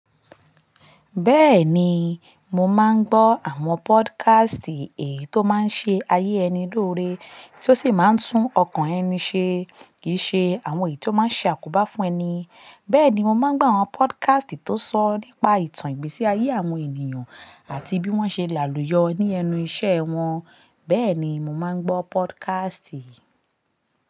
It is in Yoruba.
Bẹ́ẹ̀ni, mo máa ń gbọ́ àwọn podcast èyí tó máa ń ṣe ayé ẹni lóore, tí ó sì máa ń tún ọkàn ẹni ṣe, kì í ṣe àwọn èyí tó máa ń ṣe àkóbá fún ẹni. Bẹ́ẹ̀ ni, mo máa ń gbọ́ àwọn podcast tó sọ nípa ìtàn ìgbésí ayé àwọn ènìyàn àti bí wọ́n ṣe làlùyọ ní ẹnu ìṣe wọn. Bẹ́ẹ̀ ni, mo máa ń gbọ́ podcast.